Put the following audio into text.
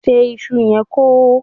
ṣe iṣu yen kò hó!